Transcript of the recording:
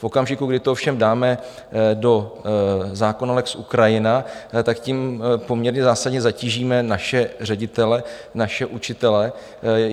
V okamžiku, kdy to ovšem dáme do zákona lex Ukrajina, tak tím poměrně zásadně zatížíme naše ředitele, naše učitele.